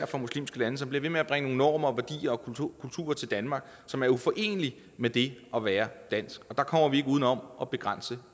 fra muslimske lande som bliver ved med at bringe nogle normer og værdier og kulturer kulturer til danmark som er uforenelige med det at være dansk og der kommer vi ikke uden om at begrænse